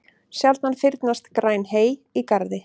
Sjaldan fyrnast græn hey í garði.